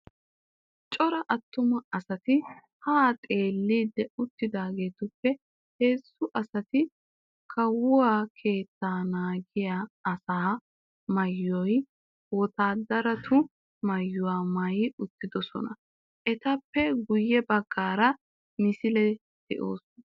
Cora attuma asati haa xeelliiddi uttidaagetuppe heezzu asati kawuwaa keettaa naagiyaa asay maayiyo wotaadaratu maayuwa maayi uttidosonna. Etappe guyye baggaara misileti de'oosona.